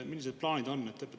Millised plaanid teil on?